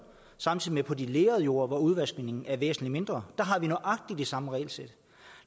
som på de lerede jorder hvor udvaskningen er væsentlig mindre har nøjagtig det samme regelsæt